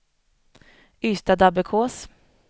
Ystadabbekås